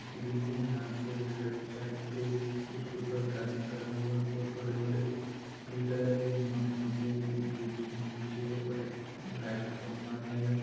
Bridge है यहाँ पे लेफ्ट साइड पे एक उसके ऊपर एक आदमी खड़ा हुआ है। बोहोत बड़े बड़े पिलर हैं। मोटे मोटे ब्रिज के नीचे और एक लाइट का खंबा है।